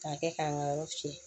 K'a kɛ k'an ka yɔrɔ fiyɛ